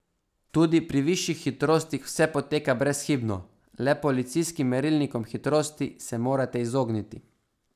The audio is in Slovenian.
Tudi pri višjih hitrostih vse poteka brezhibno, le policijskim merilnikom hitrosti se morate izogniti.